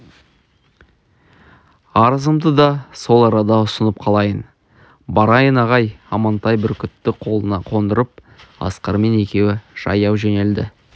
арызымды да сол арада ұсынып қалайын барайын ағай амантай бүркітті қолына қондырып асқармен екеуі жаяу жөнелді